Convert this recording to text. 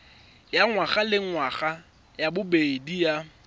ya ngwagalengwaga ya bobedi ya